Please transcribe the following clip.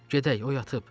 Gedək, o yatıb.